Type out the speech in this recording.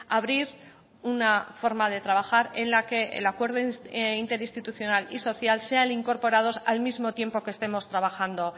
abrir una forma de trabajar en la que el acuerdo interinstitucional y social sean incorporados al mismo tiempo que estemos trabajando